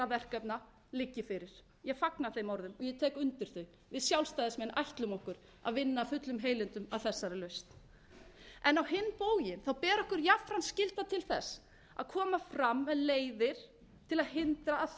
verkefna liggi fyrri ég fagna þeim orðum ég tek undir þau við sjálfstæðismenn ætlum okkur að vinna af fullum heilindum að þessari lausn á hinn bóginn ber okkur jafnframt skylda til þess að koma fram með leiðir til að hindra að fleiri einstaklingar þurfi að nýta sér þessi